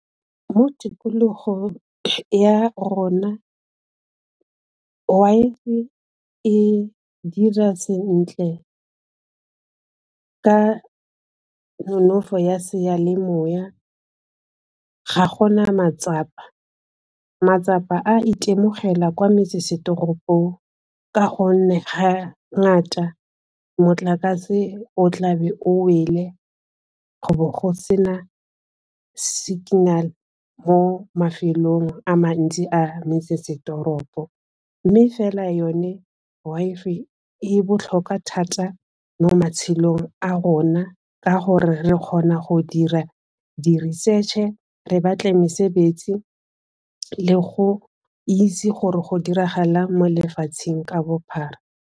Mo tikologong ya rona e dira sentle ka nonofo ya seyalemoya ga go na matsapa, matsapa a itemogela kwa metsesetoropong ka gonne ga ngata motlakase o tla be o wele, go bo go se na signal mo mafelong a mantsi a metsesetoropo, mme fela yone e botlhokwa thata mo matshelong a o rona ka gore re kgona go dira di-research-e re batle mesebetsi le go itse gore go diragalang mo lefatsheng ka bophara.